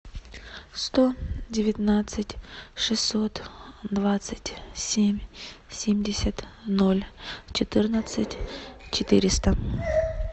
сто девятнадцать шестьсот двадцать семь семьдесят ноль четырнадцать четыреста